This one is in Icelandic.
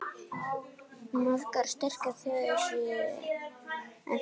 Margar sterkar þjóðir séu eftir.